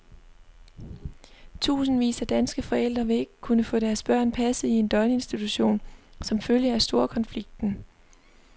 Tusindvis af danske forældre vil ikke kunne få deres børn passet i en døgninstition som følge af storkonflikten.